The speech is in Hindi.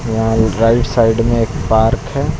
यहां राइट साइड में एक पार्क है।